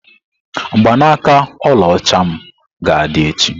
Mgbanaaka ọlaọcha m ga-adị echi.